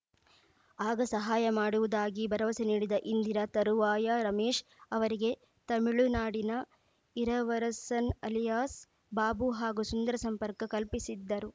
ಆಗ ಸಹಾಯ ಮಾಡುವುದಾಗಿ ಭರವಸೆ ನೀಡಿದ ಇಂದಿರಾ ತರುವಾಯ ರಮೇಶ್‌ ಅವರಿಗೆ ತಮಿಳುನಾಡಿನ ಇರವರಸನ್‌ ಅಲಿಯಾಸ್‌ ಬಾಬು ಹಾಗೂ ಸುಂದರ ಸಂಪರ್ಕ ಕಲ್ಪಿಸಿದ್ದರು